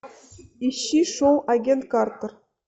ищи шоу агент картер